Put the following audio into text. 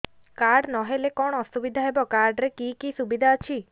card ନହେଲେ କଣ ଅସୁବିଧା ହେବ କାର୍ଡ ରେ କି କି ସୁବିଧା ଅଛି